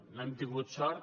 no hem tingut sort